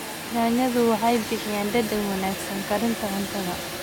Yaanyadu waxay bixiyaan dhadhan wanaagsan karinta cuntada.